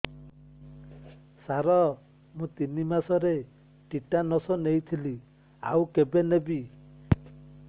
ସାର ମୁ ତିନି ମାସରେ ଟିଟାନସ ନେଇଥିଲି ଆଉ କେବେ ନେବି